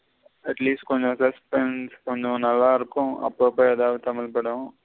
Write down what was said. Atleast கொஞ்சம் கொஞ்ச நல்ல இருக்கும் அப்ப அப்ப எதாவது தமிழ் படம்.